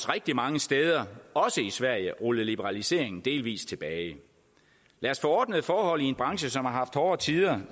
rigtig mange steder og også i sverige rullet liberaliseringen delvis tilbage lad os få ordnede forhold i en branche som har haft hårde tider